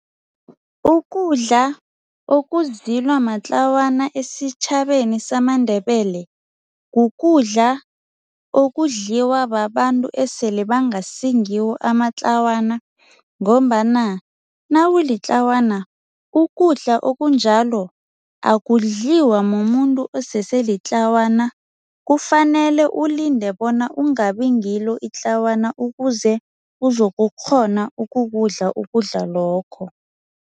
Ukudla ukuzilwa matlawana esitjhabeni samaNdebele kukudla okudliwa babantu esele bangasingiwo amatlawana ngombana nawulitlawana ukudla okunjalo akudliwa mumuntu osese litlawana kufanele ulinde bona ungabi ngilo itlawana ukuze uzokukghona ukukudla ukudla lokho.